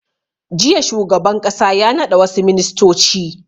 Jiya shugaban ƙasa ya naɗa wassu ministoci